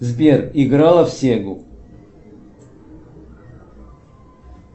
сбер играла в сегу